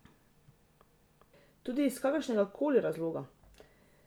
Tudi, iz kakršnegakoli razloga.